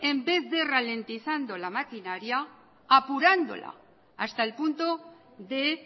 en vez de ralentizando la maquinaria apurándola hasta el punto de